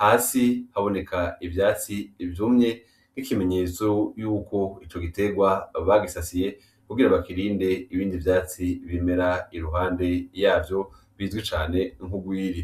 hasi haboneka ivyatsi ivyumye k'ikimenyetso yuko ico giterwa bagisasiye kugira abakirinde ibindi vyatsi bimera iruhande yavyo bizwi cane nkugwiri.